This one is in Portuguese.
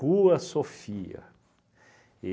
Sofia.